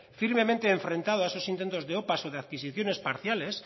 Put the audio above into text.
firmemente enfrentado a esos intentos de opa o de adquisiciones parciales